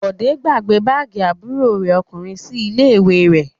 Bọ̀dé gbàgbé báágì àbúrò rẹ̀ ọkùnrin sí ilé-ìwé rẹ̀?